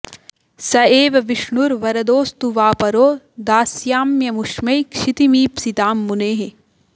स एव विष्णुर्वरदोऽस्तु वा परो दास्याम्यमुष्मै क्षितिमीप्सितां मुने